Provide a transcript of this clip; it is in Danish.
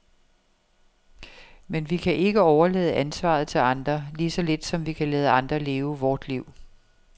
Men vi kan ikke overlade ansvaret til andre, lige så lidt som vi kan lade andre leve vort liv.